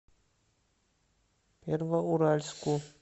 первоуральску